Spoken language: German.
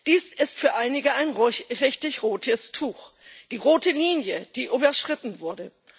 Dies ist für einige ein richtig rotes Tuch, eine rote Linie, die überschritten wurde.